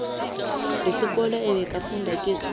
yesikolo abekafunda kiso